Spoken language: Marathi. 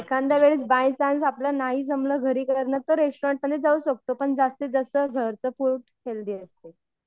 एखांद्यावेळेस बायचान्स नाही जमलं घरी करणं तर रेस्टोरेंट मध्ये जाऊ शकतो पण जास्तीत जास्त घरचं फूड हेल्थी असते.